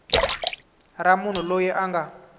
ra munhu loyi a nga